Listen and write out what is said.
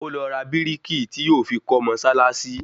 Ó lọ ra bírìkì tí yóò fi kọ́ mọ́sálásí